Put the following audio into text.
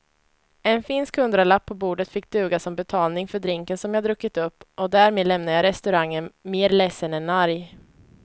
En finsk hundralapp på bordet fick duga som betalning för drinken som jag druckit upp och därmed lämnade jag restaurangen mer ledsen än arg.